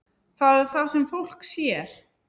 Það er það sem fólk sér.